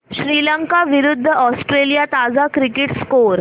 श्रीलंका विरूद्ध ऑस्ट्रेलिया ताजा cricket score